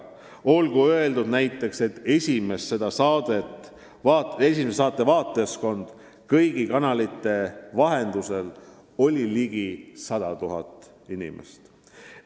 Olgu öeldud, et esimese saate vaatajaskond oli ligi 100 000 inimest.